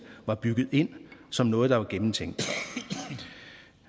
er bygget ind som noget der er gennemtænkt